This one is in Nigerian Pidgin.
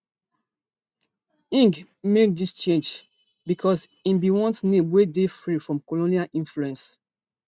ngg make dis change becos im bin want name wey dey free am from colonial influence